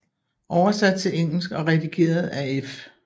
Oversatt til engelsk og redigert af F